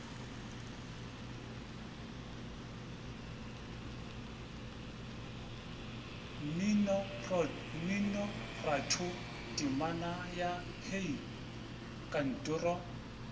mminoratho temana ya hei kantoro